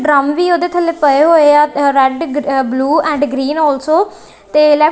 drum ਵੀ ਓਹਦੇ ਥੱਲੇ ਪਏ ਹੋਏਆ red blue and green also ਤੇ--